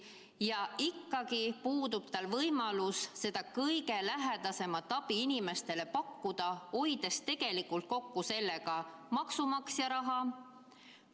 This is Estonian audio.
Ja ikkagi puudub tal võimalus seda kõige lähedasemat abi inimestele pakkuda, hoides tegelikult sellega kokku maksumaksja raha.